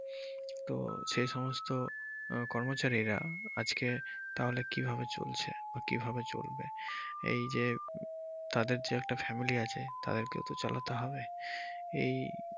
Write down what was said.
তো সেই সমস্ত আহ কর্মচারীরা আজকে তাহলে কিভাবে চলছে বা কিভাবে চলবে এইযে তাদের যে একটা family আছে তাদের কেও তো চালাতে হবে এই।